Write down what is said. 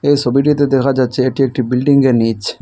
এ সবিটিতে দেখা যাচ্ছে এটি একটি বিল্ডিংয়ের নীচ।